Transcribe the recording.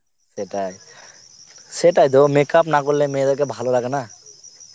সেটাই, সেটাই দেখো makeup না করলে মেয়েদের কে ভালো লাগে না